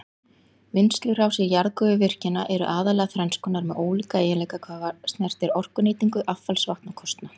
Vinnslurásir jarðgufuvirkjana eru aðallega þrenns konar með ólíka eiginleika hvað snertir orkunýtingu, affallsvatn og kostnað.